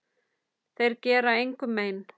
Þeir gera engum mein.